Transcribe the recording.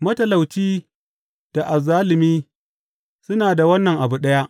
Matalauci da azzalumi suna da wannan abu ɗaya.